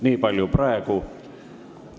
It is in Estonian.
Niipalju praegu.